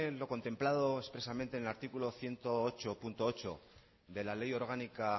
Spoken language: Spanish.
lo contemplado expresamente en el artículo ciento ocho punto ocho de la ley orgánica